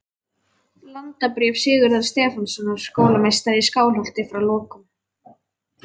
Landabréf Sigurðar Stefánssonar skólameistara í Skálholti, frá lokum